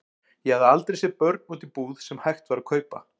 Ég hafði aldrei séð börn úti í búð sem hægt var að kaupa.